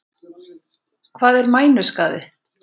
Hvað er mænuskaði?